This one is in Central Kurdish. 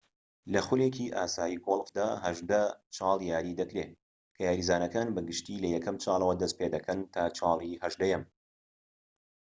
لە خولێکی ئاسایی گۆڵفدا هەژدە چاڵ یاری دەکرێت کە یاریزانەکان بە گشتی لە یەکەم چالەوە دەست پێدەکەن تا چاڵی هەژدەهەم